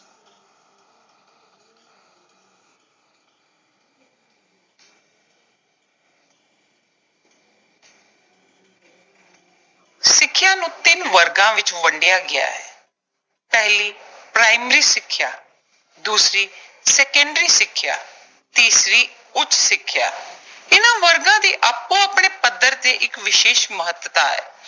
ਸਿੱਖਿਆ ਨੂੰ ਤਿੰਨ ਵਰਗਾਂ ਵਿੱਚ ਵੰਡਿਆ ਗਿਆ ਹੈ। ਪਹਿਲੀ ਪ੍ਰਾਇਮਰੀ ਸਿੱਖਿਆ, ਦੂਸਰੀ ਸੈਕੰਡਰੀ ਸਿੱਖਿਆ, ਤੀਸਰੀ ਉੱਚ ਸਿੱਖਿਆ ਇਨ੍ਵਾਂ ਵਰਗਾਂ ਦੀ ਆਪੋ-ਆਪਣੇ ਪੱਧਰ ਤੇ ਇੱਕ ਵਿਸ਼ੇਸ਼ ਮਹੱਤਤਾ ਹੈ।